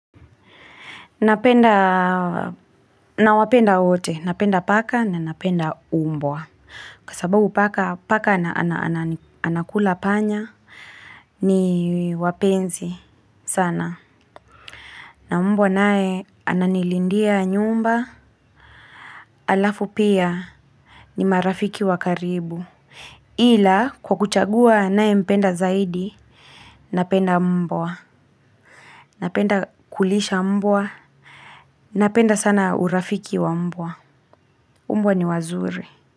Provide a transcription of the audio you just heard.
Napenda, nawapenda wote. Napenda paka na napenda umbwa. Kwasababu paka, paka anakula panya, ni wapenzi sana. Na umbwa nae, ananilindia nyumba, halafu pia, ni marafiki wakaribu. Ila, kwa kuchagua ninae mpenda zaidi, napenda mbwa. Napenda kulisha mbwa, napenda sana urafiki wa mbwa. Umbani wazuri.